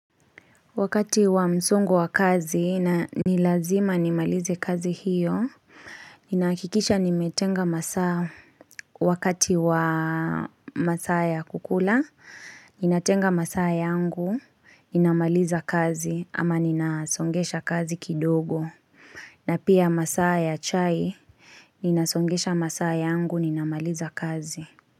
Wakati wa msongo wa kazi na nilazima nimalize kazi hiyo, ninahakikisha nimetenga masaa wakati wa masaa ya kukula, ninatenga masaa yangu, ninamaliza kazi ama ninasongesha kazi kidogo. Na pia masaa ya chai, ninasongesha masaa yangu, ninamaliza kazi.